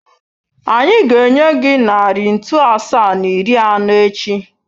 Anyị ga-enye gị narị ntu asaa na iri anọ echi.